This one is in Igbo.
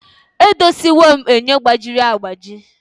Edoziwo m enyo gbajiri agbaji